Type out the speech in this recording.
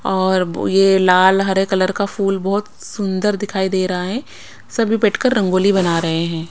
और बो ये लाल हरे कलर का फूल बहुत सुंदर दिखाई दे रहा है सभी बैठकर रंगोली बना रहे हैं।